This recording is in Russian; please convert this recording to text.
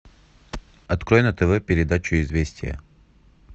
открой на тв передачу известия